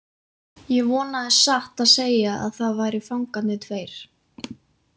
Ég vonaði satt að segja að það væru fangarnir tveir.